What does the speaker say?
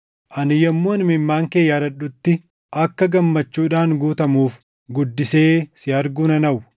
Ani yommuun imimmaan kee yaadadhutti akka gammachuudhaan guutamuuf guddisee si arguu nan hawwa.